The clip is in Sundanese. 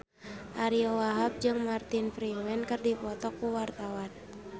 Ariyo Wahab jeung Martin Freeman keur dipoto ku wartawan